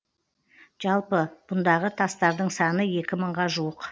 жалпы бұндағы тастардың саны екі мыңға жуық